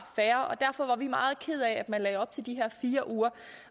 fair og derfor var vi meget kede af at man lagde op til de her fire uger